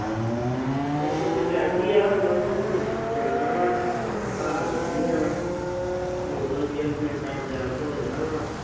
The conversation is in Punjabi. ਪੇਪਰ ਦੀ ਤਿਆਰੀ ਆ। ਬਸ ਹੁਣ ਜਾਣਾ ਵਾ। ਧਾਰਾਂ ਕੱਢ ਲੀਆਂ ਵਾ। ਹੋਰ ਯਰ ਮਿੰਟਾਂ ਚ ਤਿਆਰ ਹੋ ਜਾਣਾ ਵਾ।